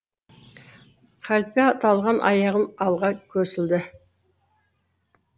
қалпе талған аяғын алға көсілді